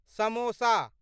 samosa